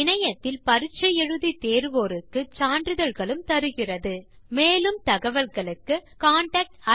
இணைய பரிட்சை தேர்வோருக்கு சான்றிதழ்களும் தருகிறது மேலும் அதிக தகவல்களுக்கு எம்மை தொடர்பு கொள்ளவும்